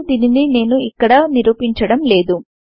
కాని దీనిని నేను ఇక్కడ నిరూపించడం లేదు